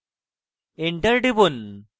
enter টিপুন